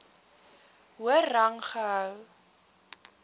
hoër rang gehou